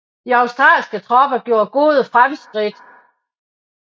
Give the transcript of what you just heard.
De australske tropper gjorde gode fremskridt